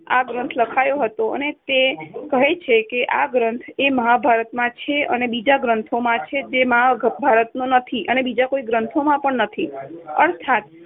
આ ગ્રંથ લખાયો હતો અને તે કહે છે કે આ ગ્રંથ એ મહાભારતમાં છે અને બીજા ગ્રંથોમાં છે જે આ મહાભારતમાં નથી અને બીજા કોઈ ગ્રંથોમાં પણ નથી અર્થાત